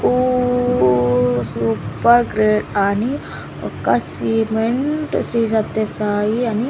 ఊ super great అని ఒక్క సిమెంట్ శ్రీ సత్య సాయి అని --